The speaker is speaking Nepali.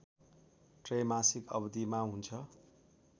त्रैमासिक अवधिमा हुन्छ